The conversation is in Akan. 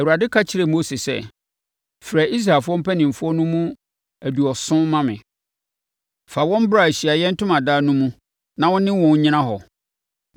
Awurade ka kyerɛɛ Mose sɛ, “Frɛ Israelfoɔ mpanimfoɔ no mu aduɔson ma me; fa wɔn bra Ahyiaeɛ Ntomadan no mu na wo ne wɔn nnyina hɔ.